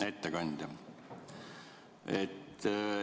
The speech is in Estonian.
Hea ettekandja!